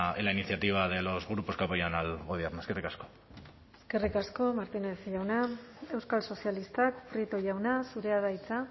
en la iniciativa de los grupos que apoyan al gobierno eskerrik asko eskerrik asko martínez jauna euskal sozialistak prieto jauna zurea da hitza